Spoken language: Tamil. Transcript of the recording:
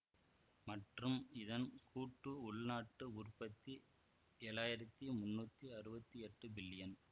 மற்றும் இதன் கூட்டு உள்நாட்டு உற்பத்தி ஏழாயிரத்தி முன்னூத்தி அறுவத்தி எட்டு பில்லியன்